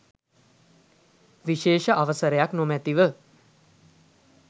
විශේෂ අවසරයක් නොමැතිව